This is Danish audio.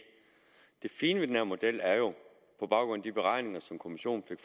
fine ved den her model er jo på baggrund af de beregninger som kommissionen fik